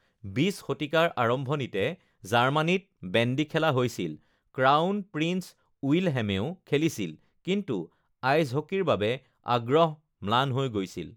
২০ শতিকাৰ আৰম্ভণিতে জাৰ্মানীত বেণ্ডী খেলা হৈছিল, ক্ৰাউন প্ৰিন্স উইলহেমেও খেলিছিল, কিন্তু আইচ হকীৰ বাবে আগ্ৰহ ম্লান হৈ গৈছিল৷